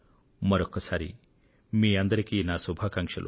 మరొక్కసారి మీకందరికీ నా శుభాకాంక్షలు